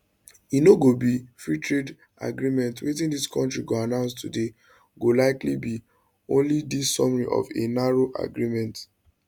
e no go be freetrade agreement wetin di kontris go announce today go likely be only di summary of a narrow agreement